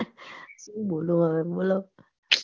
સુ બોલું હવે બોલો